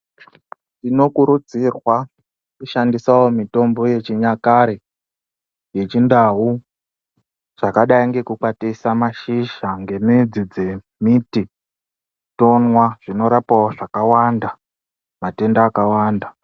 Tinokurudzirwa kushandisawo mutombo yechinyakare yechindau zvakadai ngekukwatisa mashizha ngemidzi dzemiti tomwa zvinorapawo zvakawanda matendawo akawanda.